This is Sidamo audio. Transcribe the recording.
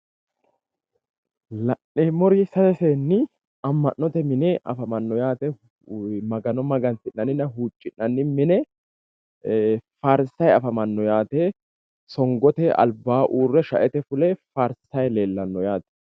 la'neemmori sase seenni ama'note mine afamanno yaate. magano mangansi'nanninna huucci'nanni mine farsay afamanno yaate. songote albaa urre shaete fule faarsay leellanno yaate.